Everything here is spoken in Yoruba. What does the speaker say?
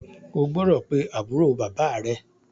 O gbọ́dọ̀ pe àbúrò bàbá à rẹ.